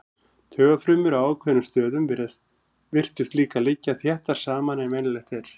Taugafrumur á ákveðnum stöðum virtust líka liggja þéttar saman en venjulegt er.